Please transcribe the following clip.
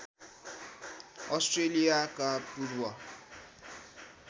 अष्ट्रेलियाका पूर्व